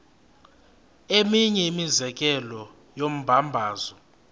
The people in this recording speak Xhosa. eminye imizekelo yombabazo